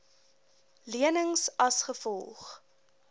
lenings as gevolg